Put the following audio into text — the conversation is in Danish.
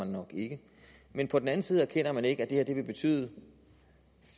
nok ikke men på den anden side erkender man ikke at det her vil betyde